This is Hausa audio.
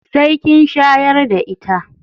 Sai kin shayar da ita.